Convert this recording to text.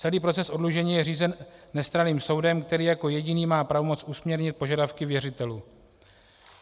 Celý proces oddlužení je řízený nestranným soudem, který jako jediný má pravomoc usměrnit požadavky věřitelů.